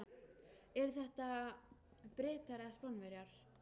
Eru þetta Bretar eða Spánverjar?